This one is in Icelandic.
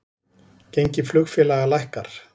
Gengi flugfélaga lækkar